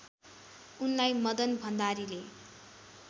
उनलाई मदन भण्डारीले